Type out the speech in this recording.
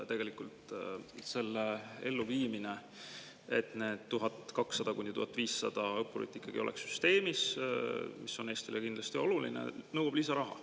Tegelikult see, et need 1200–1500 õppurit ikkagi oleks süsteemis, mis on Eestile kindlasti oluline, nõuab lisaraha.